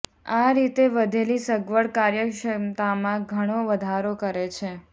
આ રીતે વધેલી સગવડ કાર્યક્ષમતામાં ઘણો વધારો કરે છે